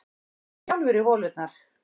Fylltu sjálfir í holurnar